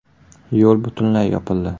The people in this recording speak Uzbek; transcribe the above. Yo‘l butunlay yopildi.